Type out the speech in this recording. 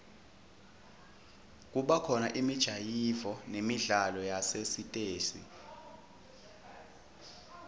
kubakhona imijayivo nemidlalo yasesitesi